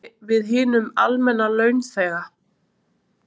En hvernig ætlar þetta víki við hinum almenna launþega?